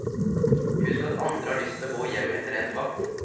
Husk at andre har lyst til å gå hjem etter endt vakt.